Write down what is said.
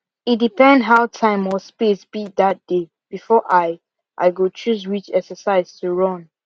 e depend how time or space be that day before i i go choose which exercise to run